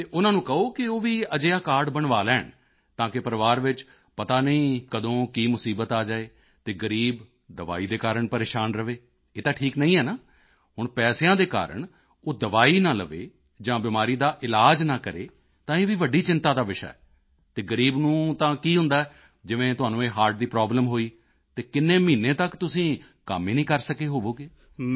ਅਤੇ ਉਨ੍ਹਾਂ ਨੂੰ ਕਹੋ ਕਿ ਉਹ ਵੀ ਅਜਿਹਾ ਕਾਰਡ ਬਣਵਾ ਲੈਣ ਤਾਕਿ ਪਰਿਵਾਰ ਵਿੱਚ ਪਤਾ ਨਹੀਂ ਕਦੋਂ ਕੀ ਮੁਸੀਬਤ ਆ ਜਾਏ ਅਤੇ ਗ਼ਰੀਬ ਦਵਾਈ ਦੇ ਕਾਰਨ ਪਰੇਸ਼ਾਨ ਰਹੇ ਇਹ ਤਾਂ ਠੀਕ ਨਹੀਂ ਹੈ ਹੁਣ ਪੈਸਿਆਂ ਦੇ ਕਾਰਨ ਉਹ ਦਵਾਈ ਨਾ ਲਵੇ ਜਾਂ ਬਿਮਾਰੀ ਦਾ ਇਲਾਜ ਨਾ ਕਰੇ ਤਾਂ ਇਹ ਵੀ ਵੱਡੀ ਚਿੰਤਾ ਦਾ ਵਿਸ਼ਾ ਹੈ ਅਤੇ ਗ਼ਰੀਬ ਨੂੰ ਤਾਂ ਕੀ ਹੁੰਦਾ ਹੈ ਜਿਵੇਂ ਤੁਹਾਨੂੰ ਇਹ ਹਰਟ ਦੀ ਪ੍ਰੋਬਲਮ ਹੋਈ ਤਾਂ ਕਿੰਨੇ ਮਹੀਨੇ ਤੱਕ ਤੁਸੀਂ ਕੰਮ ਹੀ ਨਹੀਂ ਕਰ ਸਕੇ ਹੋਵੋਗੇ